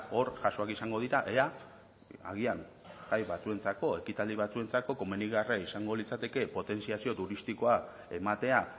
hor jaso ahal izango dira ea agian jai batzuentzako ekitaldi batzuentzako komenigarria izango litzateke potentziazio turistikoa ematea